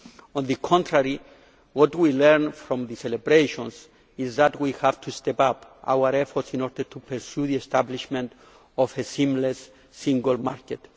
On the contrary, what we learned from the celebrations is that we have to step up our efforts in order to pursue the establishment of a seamless single market.